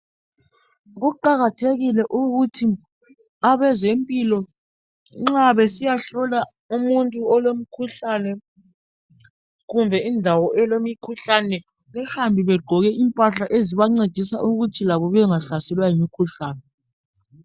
Kuqakathekile ukuthi abezempilo nxa besiyahlola umuntu olomkhuhlane kumbe indawo elemikhuhlane behambe begqoke impahla ezibancedisa ukuthi labo bengahlaselwa yimikhuhlane